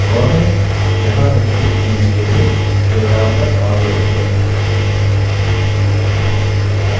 यह वह है जहाँ names चुनित fields के लिए विवरणात्मक names दे सकते हैं